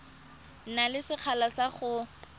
na le sekgala sa go